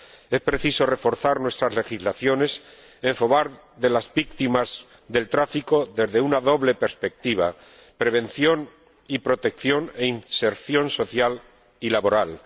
Es preciso reforzar nuestras legislaciones en favor de las víctimas del tráfico desde una doble perspectiva prevención y protección e inserción social y laboral.